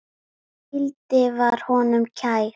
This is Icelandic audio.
Hvíldin var honum kær.